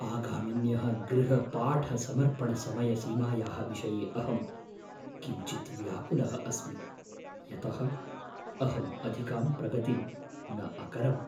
आगामिन्यः गृहपाठसमर्पणसमयसीमायाः विषये अहं किञ्चिद् व्याकुलः अस्मि, यतः अहम् अधिकां प्रगतिं न अकरवम्।